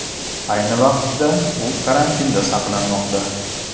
Ayni vaqtda u karantinda saqlanmoqda .